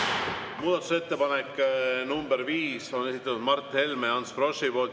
Muudatusettepaneku nr 5 on esitanud Mart Helme ja Ants Frosch.